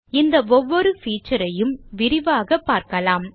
இந்த ஒவ்வொரு feature ஐயும் விரிவாக பார்க்கலாம்